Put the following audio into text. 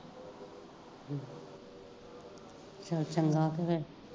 ਚਲ ਚੰਗਾ